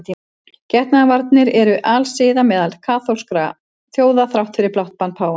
Getnaðarvarnir eru alsiða meðal margra kaþólskra þjóða þrátt fyrir blátt bann páfans.